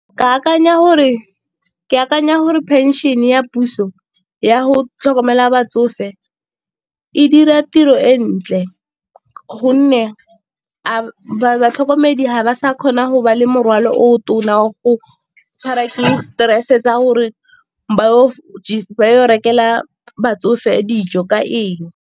Ke akanya gore phenšene ya puso ya go tlhokomela batsofe e dira tiro e ntle gonne batlhokomedi ba sa kgona go ba le morwalo o go tshwara ke stress-e sa gore ba yo rekelwa batsofe dijo ka eng.